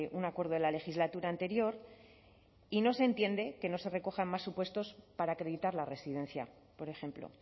un acuerdo de la legislatura anterior y no se entiende que no se recojan más supuestos para acreditar la residencia por ejemplo